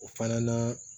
O fana na